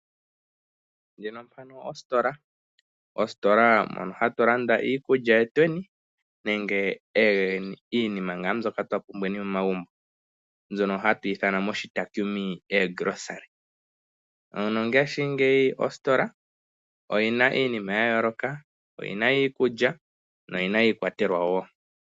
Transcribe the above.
Muka omositola moka hatu landa iikulya yetweni nenge iinima mbyoka twa pumbweni momagumbo. Nongashingeyi ositola oyi na iinima ya yooloka. Oyi na iikulya noyi na iikwatelwa wo.